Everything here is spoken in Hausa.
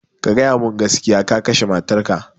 Ka gaya mun gaskiya, ka kashe matar ka